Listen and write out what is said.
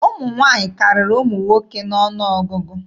Ụmụ nwaanyị karịrị ụmụ nwoke n'ọnụ ọgụgụ.